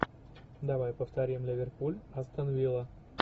давай повторим ливерпуль астон вилла